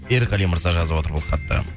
ерғали мырза жазып отыр бұл хатты